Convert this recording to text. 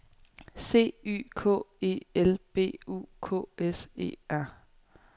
C Y K E L B U K S E R